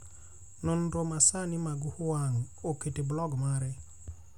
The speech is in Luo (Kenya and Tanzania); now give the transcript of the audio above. Nonro masani mag Huang oketo e blog mare